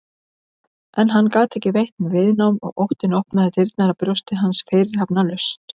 En hann gat ekki veitt viðnám og óttinn opnaði dyrnar að brjósti hans fyrirhafnarlaust.